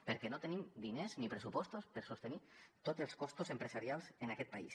perquè no tenim diners ni pressupostos per sostenir tots els costos empresarials en aquest país